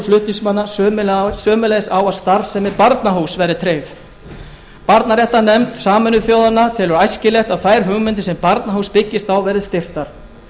flutningsmanna sömuleiðis á að starfsemi barnahúss verði tryggð barnaréttarnefnd sameinuðu þjóðanna telur æskilegt að þær hugmyndir sem barnahús byggist á verði styrktar það